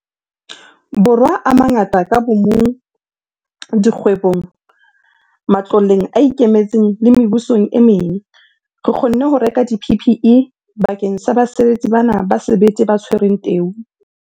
Borwa a mangata ka bomong, dikgwebong, matloleng a ikemetseng le mebusong e meng, re kgonne ho reka di-PPE bakeng sa basebetsi bana ba sebete ba tshwereng teu.